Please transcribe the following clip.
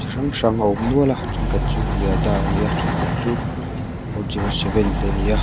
chi hrang hrang a awm nual a ṭhenkhat chu yodha a ni a ṭhen khat chu four zero seven te a ni a.